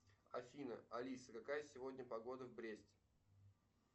афина алиса какая сегодня погода в бресте